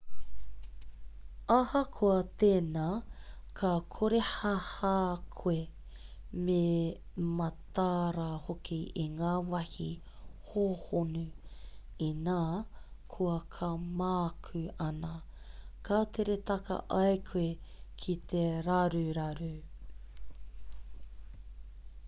ahakoa tēnā ka korehāhā koe me matāra hoki i ngā wāhi hōhonu inā koa ka mākū ana ka tere taka ai koe ki te raruraru